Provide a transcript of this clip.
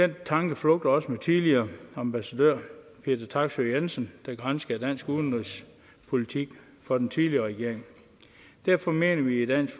den tanke flugter også med tidligere ambassadør peter taksøe jensen der granskede dansk udenrigspolitik for den tidligere regering derfor mener vi i dansk